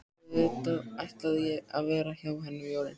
Auðvitað ætlaði ég að vera hjá henni um jólin.